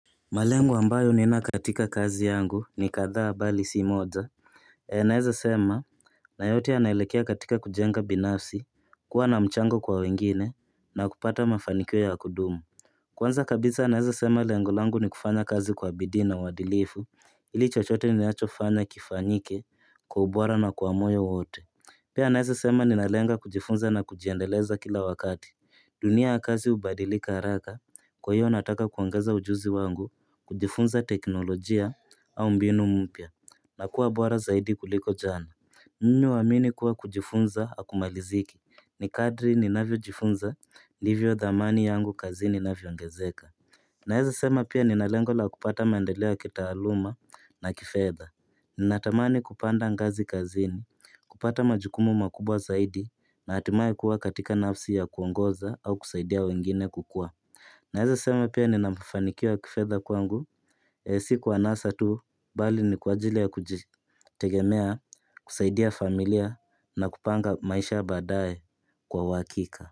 Malengo ambayo nina katika kazi yangu ni kadhaa bali si moja naweza sema na yote yanaelekea katika kujenga binafsi kuwa na mchango kwa wengine na kupata mafanikio ya kudumu Kwanza kabisa naeza sema lengo langu ni kufanya kazi kwa bidii na uadilifu ili chochote ninachofanya kifanyike kwa ubora na kwa moyo wote Pia naweza sema ninalenga kujifunza na kujiendeleza kila wakati. Dunia ya kazi ubadilika haraka. Kwa hiyo nataka kuongeza ujuzi wangu kujifunza teknolojia au mbinu mpya na kuwa bora zaidi kuliko jana. Nina uamini kuwa kujifunza hakumaliziki. Ni kadri ninavyojifunza, ndivyo dhamani yangu kazini inavyo ongezeka. Naweza sema pia ninalengo la kupata maendeleo kitaluuma na kifedha Ninatamani kupanda ngazi kazini, kupata majukumu makubwa zaidi, na hatimaye kuwa katika nafsi ya kuongoza au kusaidia wengine kukua Naweza sema pia nina mafanikiwa kifedha kwangu Si kwa anasa tu, bali ni kwa ajili ya kujitegemea, kusaidia familia na kupanga maisha badae kwa uhakika.